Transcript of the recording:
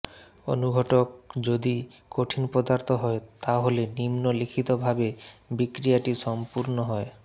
অণুঘটক যদি কঠিন পদার্থ হয় তাহলে নিম্ন লিখিত ভাবে বিক্রিয়াটি সম্পূর্ণ হয়ঃ